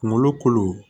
Kunkolo kolo